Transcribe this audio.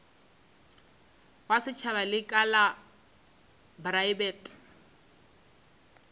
wa setšhaba lekala la praebete